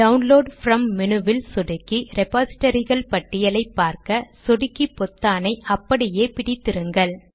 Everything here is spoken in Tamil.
டவுன் லோட் ப்ரம் மெனுவில் சொடுக்கி ரெபாசிடரிகள் பட்டியலை பார்க்க சொடுக்கி பொத்தானை அப்படியே பிடித்திருங்கள்